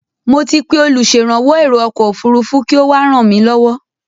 Mo ti pé olùṣèrànwọ́ èro ọkọ̀ òfurufú kí ó wá ràn mí lọ́wọ́.